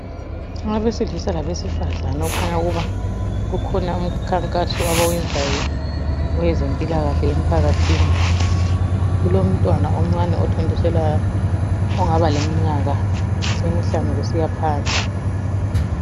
Abesilisa labesifazana okukhanya ukuba ukhona umkhankaso abawenzayo owezempilakahle emphakathini. Kulomntwana omncane othontiselwayo ongaba leminyaka emihlanu kusiya phansi.